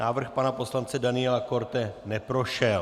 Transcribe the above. Návrh pana poslance Daniela Korte neprošel.